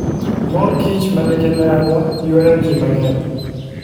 Mor kich manigi dhadho ywayo ji mang'eny.